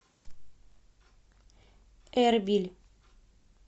эрбиль